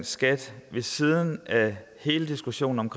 skat ved siden af hele diskussionen om